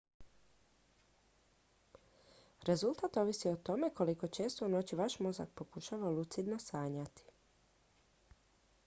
rezultat ovisi o tome koliko često u noći vaš mozak pokušava lucidno sanjati